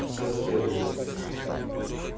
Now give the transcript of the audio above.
соседу